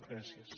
gràcies